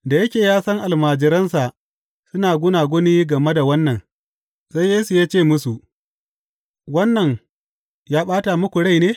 Da yake ya san almajiransa suna gunaguni game da wannan, sai Yesu ya ce musu, Wannan ya ɓata muku rai ne?